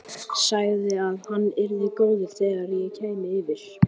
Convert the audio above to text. Sagði að hann yrði orðinn góður þegar ég kæmi yfir.